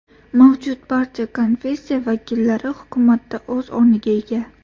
Mavjud barcha konfessiya vakillari hukumatda o‘z o‘rniga ega.